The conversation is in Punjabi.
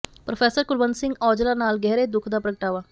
ਪ੍ਰੋਫੈਸਰ ਕੁਲਵੰਤ ਸਿੰਘ ਔਜਲਾ ਨਾਲ ਗਹਿਰੇ ਦੁੱਖ ਦਾ ਪ੍ਰਗਟਾਵਾ